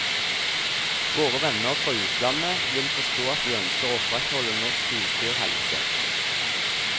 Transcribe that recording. Våre venner fra utlandet vil forstå at vi ønsker å opprettholde norsk husdyrhelse.